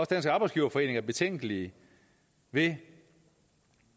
dansk arbejdsgiverforening er betænkelig ved